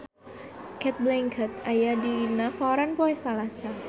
Cate Blanchett aya dina koran poe Salasa